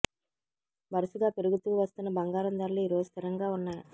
వరుసగా పెరుగుతూ వస్తున్న బంగారం ధరలు ఈరోజు స్థిరంగా ఉన్నాయి